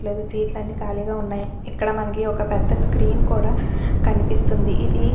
Seat లన్ని కాళీగా ఉన్నాయి ఇక్కడమనకి ఒక్క పెద్ద స్క్రీన్ కూడా కనిపిస్తుందిఇదీ.